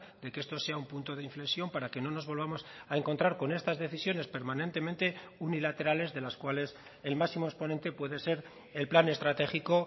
de que esto sea un punto de inflexión para que no nos volvamos a encontrar con estas decisiones permanentemente unilaterales de las cuales el máximo exponente puede ser el plan estratégico